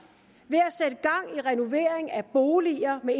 ved renovering af boliger med